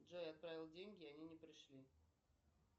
джой отправил деньги они не пришли